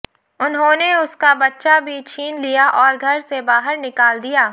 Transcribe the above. उन्होंने उसका बच्चा भी छीन लिया और घर से बाहर निकाल दिया